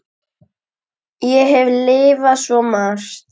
Ég hef lifað svo margt.